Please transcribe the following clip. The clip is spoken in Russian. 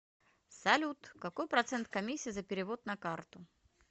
салют какой процент комиссии за перевод на карту